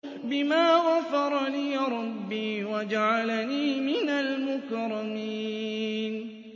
بِمَا غَفَرَ لِي رَبِّي وَجَعَلَنِي مِنَ الْمُكْرَمِينَ